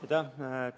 Aitäh!